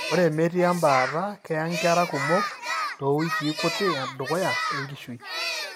Ore metii embaata, keye inkera kumok toowikii kuti edukuya enkishui.